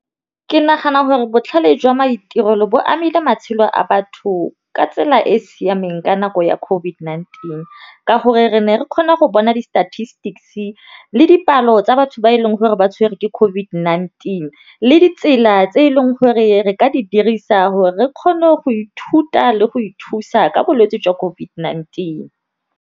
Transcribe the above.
Ke nagana gore botlhale jwa maitirelo bo amile matshelo a batho ka tsela e e siameng ka nako ya COVID-19, ka gore re ne re kgona go bona di-statistics le dipalo tsa batho ba e leng gore ba tshwere ke COVID-19, le ditsela tse e leng gore re ka di dirisa gore re kgone go ithuta le go ithusa ka bolwetse jwa COVID-19.